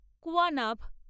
কুয়ানাভ